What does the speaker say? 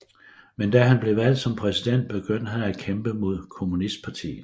Men da han blev valgt som præsident begyndte han at kæmpe mod kommunistpartiet